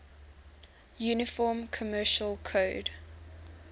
uniform commercial code